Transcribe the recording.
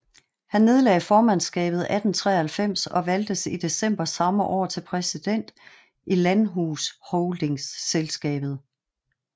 Han nedlagde formandsskabet 1893 og valgtes i december samme år til præsident i Landhusholdningsselskabet